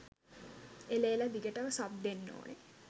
එළ! එළ! දිගටම සබ් දෙන්න ඕනේ